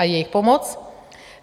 A jejich pomoc?